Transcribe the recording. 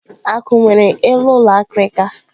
Akwu nwere eluulọ akịrịka